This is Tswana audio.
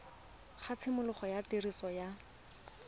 ga tshimologo ya tiriso ya